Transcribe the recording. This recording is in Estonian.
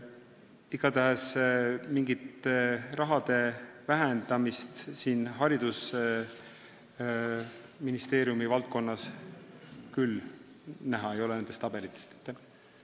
Igatahes mingit raha vähendamist haridusministeeriumi valdkonnas nendest tabelitest küll näha ei ole.